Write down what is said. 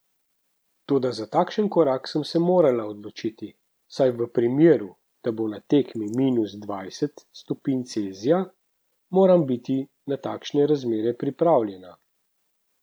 Toda za takšen korak sem se morala odločiti, saj v primeru, da bo na tekmi minus dvajset stopinj Celzija, moram biti na takšne razmere pripravljena.